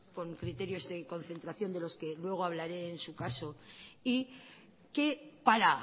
con criterios de concentración de los que luego hablaré en su caso y que para